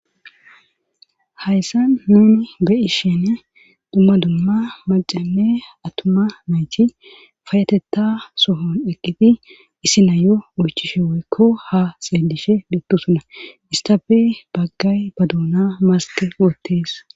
Hayssan nuni beyi sheene dumma dumma macame atuma mayti fayatetta sohon eqqiti isi nayo ulchishe woykko ha seedishe dettusuna istape baggay ba duuna maske oottees.